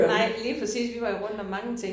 Nej lige præcis. Vi var jo rundt om mange ting